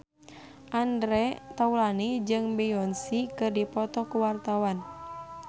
Andre Taulany jeung Beyonce keur dipoto ku wartawan